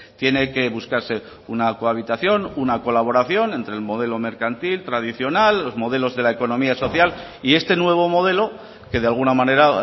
tiene que buscarse una cohabitación una colaboración entre el modelo mercantil tradicional los modelos de la economía social y este nuevo modelo que de alguna manera